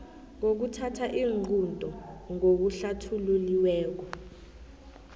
nokuthatha iinqunto ngokuhlathululiweko